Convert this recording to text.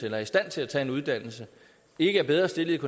eller i stand til at tage en uddannelse ikke er bedre stillet